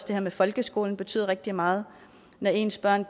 det her med folkeskolen betyder rigtig meget når ens børn